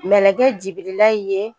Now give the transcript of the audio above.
Mɛlɛkɛ Jibirila ye